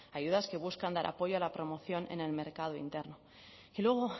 ayudas que buscan dar apoyo a la promoción en el mercado interno y luego